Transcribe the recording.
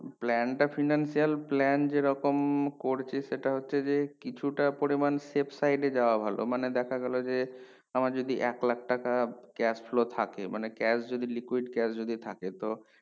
plan টা finance plan যেরকম করছে সেটা হচ্ছে যে কিছুটা পরিমান save site এ যায় ভালো মানে দেখা গেলো যে আমার যদি এক লাখ টাকা cash flow থাকে মানে cash যদি liquid যদি থাকে তো